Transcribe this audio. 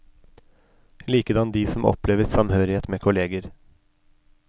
Likedan de som opplever samhørighet med kolleger.